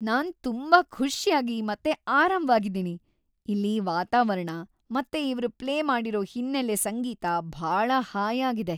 ನಾನ್ ತುಂಬಾ ಖುಷ್ಯಾಗಿ ಮತ್ತೆ ಆರಾಮ್ವಾಗಿದೀನಿ, ಇಲ್ಲಿ ವಾತಾವರಣ ಮತ್ತೆ ಇವ್ರ್‌ ಪ್ಲೇ ಮಾಡಿರೋ ಹಿನ್ನೆಲೆ ಸಂಗೀತ ಭಾಳ ಹಾಯಾಗಿದೆ!